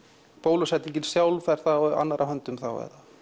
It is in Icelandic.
bólusetningin sjálf er á annarra höndum þá eða